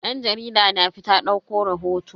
Dan jarida na fita dauko rahoto.